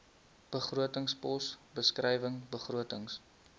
begrotingspos beskrywing begrotings